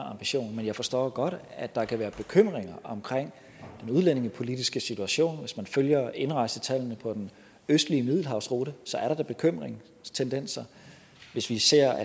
ambition men jeg forstår godt at der kan være bekymringer omkring den udlændingepolitiske situation hvis man følger indrejsetallene på den østlige middelhavsrute er der da bekymringstendenser hvis vi ser